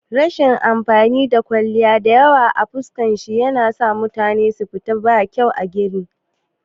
Rashin amfanin kwalliya diyawa a fuska shine yanasa mutum ya yi fita marar kyau a gani